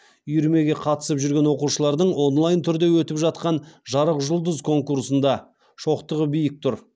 үйірмеге қатысып жүрген оқушылардың онлайн түрде өтіп жатқан жарық жұлдыз конкурсында шоқтығы биік тұр